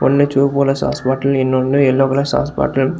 ஒன்னு செவப்பு colour sauce bottle இன்னொன்னு எல்லோ கலர் சாஸ் பாட்டில் .